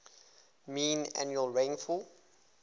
mean annual rainfall